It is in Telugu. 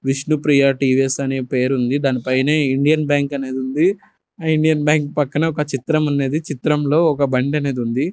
విష్ణుప్రియ టీ_వీ_ఎస్ అనే పేరుంది దాని పైనే ఇండియన్ బ్యాంక్ అనేది ఉంది ఆ ఇండియన్ బ్యాంక్ పక్కనే ఒక చిత్రం ఉంది చిత్రం లో ఒక బండి అనేది ఉంది.